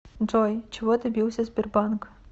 джой чего добился сбербанк